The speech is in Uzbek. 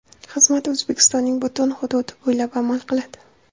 Xizmat O‘zbekistonning butun hududi bo‘ylab amal qiladi.